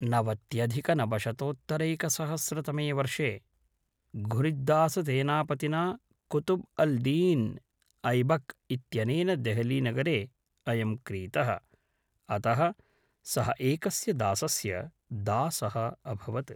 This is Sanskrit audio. नवत्यधिकैकशतोत्तरैकसहस्रतमे वर्षे घुरिद्दाससेनापतिना कुतुब् अल् दीन् ऐबक् इत्यनेन देहलीनगरे अयं क्रीतः, अतः सः एकस्य दासस्य दासः अभवत्।